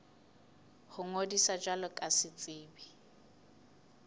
ho ngodisa jwalo ka setsebi